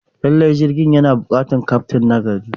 Lallai, jirgin yana buƙatar kyaftin nagari.